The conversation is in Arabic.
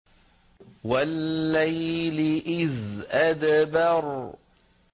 وَاللَّيْلِ إِذْ أَدْبَرَ